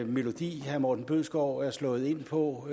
melodi herre morten bødskov er slået ind på